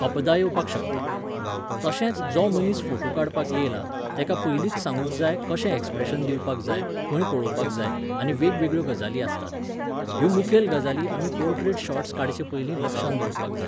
अपदा येवपाक शकता. तशेंच जो मनीस फोटू काडपाक येयला, तेका पयलींच सांगूंक जाय कशें ऍक्स्प्रॅशन दिवपाक जाय, खंय पळोवपाक जाय, आनी वेगवेगळ्यो गजाली आसतात. ह्यो मुखेल गजाली आमी पोर्ट्रेट शॉट्स काडचेपयलीं लक्षांत दवरपाक जाय